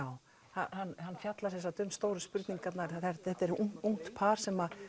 hann hann fjallar um stóru spurningarnar þetta er ungt par sem